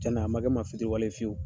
Cɛnna a ma kɛ n ma fitiriwale ye fiwu.